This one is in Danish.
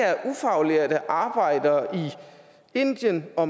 er ufaglærte arbejdere i indien og